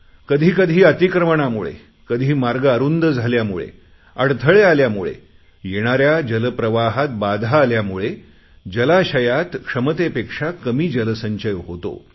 कधी कधी अतिक्रमणामुळे कधी मार्ग अरुंद झाल्यामुळे अडथळे आल्यामुळे येणाऱ्या जलप्रवाहात बाधा आल्यामुळे जलाशयात क्षमतेपेक्षा कमी जलसंचय होतो